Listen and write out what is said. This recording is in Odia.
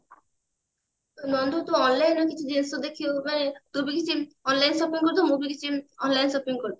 ନନ୍ଦୁ ତୁ online ରେ କିଛି ଜିନିଷ ଦେଖି ଦବୁ ନା ତୁ ବି କିଛି online shopping କରିଦେବୁ ମୁଁ ବି କିଛି online shopping କରିଦେବି